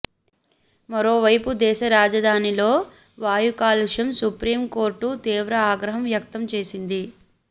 మరోవైపు దేశ రాజధానిలో వాయు కాలుష్యం సుప్రీంకోర్టు తీవ్ర ఆగ్రహం వ్యక్తం చేసింది